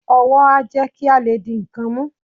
ówò a jé kí o lé dí nkán mú